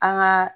An ka